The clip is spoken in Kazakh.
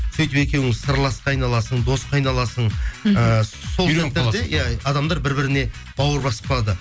сөйтіп екеуің сырласқа айналасың досқа айналасың иә адамдар бір біріне бауыр басып қалады